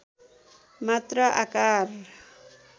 मात्रा आकार